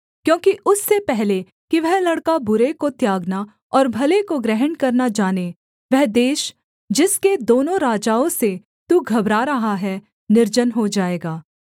क्योंकि उससे पहले कि वह लड़का बुरे को त्यागना और भले को ग्रहण करना जाने वह देश जिसके दोनों राजाओं से तू घबरा रहा है निर्जन हो जाएगा